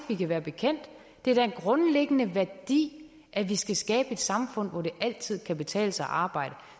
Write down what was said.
vi kan være bekendt det er da en grundlæggende værdi at vi skal skabe et samfund hvor det altid kan betale sig at arbejde